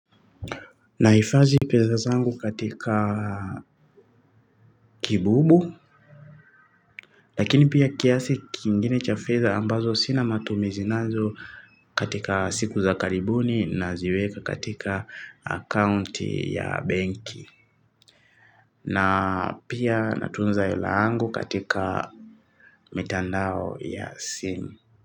Nahifadhi pesa zangu katika kibubu. Lakini pia kiasi kingine cha fedha ambazo sina matumizi nazo katika siku za karibuni naziweka katika account ya banki. Na pia natunza hela yangu katika mitandao ya simu.